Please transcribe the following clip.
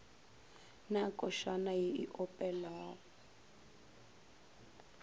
na košana ye e opelwa